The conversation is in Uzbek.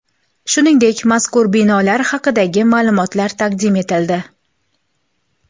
Shuningdek, mazkur binolar haqidagi ma’lumotlar taqdim etildi.